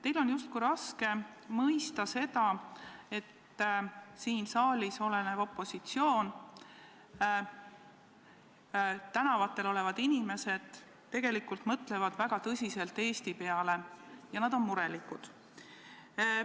Teil on justkui raske mõista, et siin saalis olev opositsioon ja ka tänavatel olevad inimesed tegelikult mõtlevad väga tõsiselt Eesti peale ja nad on murelikud.